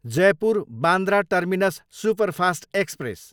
Jaipur, Bandra terminus superfast express